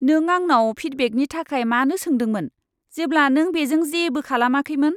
नों आंनाव फिडबेकनि थाखाय मानो सोंदोंमोन, जेब्ला नों बेजों जेबो खालामाखैमोन?